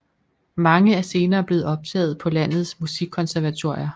Mange er senere blevet optaget på landets musikkonservatorier